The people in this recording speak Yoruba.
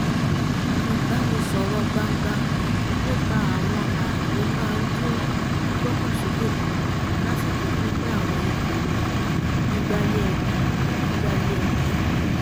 ìbánisọ̀rọ̀ gbangba nípa àwọn ààyè máa ń dín gbígbọ́kàn sókè kù lásìkò pínpín àwọn ipò gbígbáyé ẹbí gbígbáyé ẹbí